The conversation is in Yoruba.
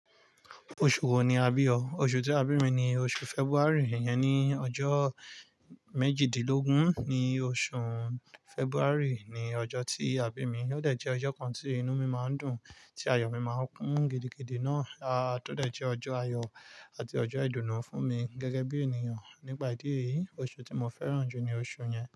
Oṣù wo ni a bí ọ? Oṣù tí a bí mi ni oṣù February. Ìyẹn ni ọjọ́ méjìdínlógún ní oṣù February ni ọjọ́ tí a bí mi, ó dẹ̀ jẹ́ ọjọ́ kan tí inú mi máa ń dùn, tí ayọ̀ mi máa ń kún gidigidi náà, a tó dẹ̀ jẹ́ ọjọ́ ayọ̀ àti ọjọ́ ìdùnnú fún mi gẹ́gẹ́ bí ènìyàn. Nípa ìdí èyí, oṣù tí mo fẹ́ràn jù ni oṣù yẹn.